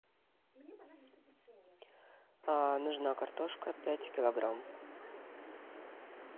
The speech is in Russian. нужна картошка пять килограмм